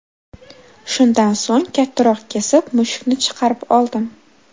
Shundan so‘ng, kattaroq kesib, mushukni chiqarib oldim.